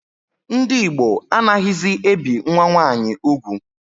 Ndị Igbo anaghịzi ebi nwa nwaanyi ugwu